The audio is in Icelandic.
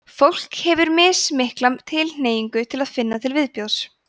fólk hefur mismikla tilhneigingu til að finna til viðbjóðs